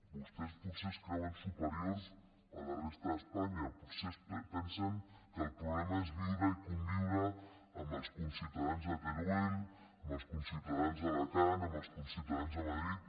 vostès potser es creuen superiors a la resta d’espanya potser pensen que el problema és viure i conviure amb els conciutadans de teruel amb els conciutadans d’alacant amb els conciutadans de madrid